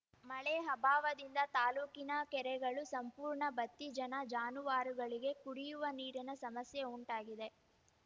ಮಳೆ ಅಭಾವದಿಂದ ತಾಲೂಕಿನ ಕೆರೆಗಳು ಸಂಪೂರ್ಣ ಬತ್ತಿ ಜನ ಜಾನುವಾರುಗಳಿಗೆ ಕುಡಿಯುವ ನೀರಿನ ಸಮಸ್ಯೆ ಉಂಟಾಗಿದೆ